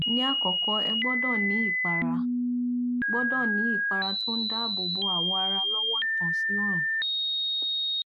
ní àkọkọ ẹ gbọdọ ní ìpara gbọdọ ní ìpara tó ń dààbòbo awọ ara lọwọ ìtànsí òòrùn